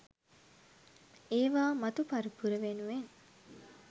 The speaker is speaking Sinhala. ඒවා මතු පරපුර වෙනුවෙන්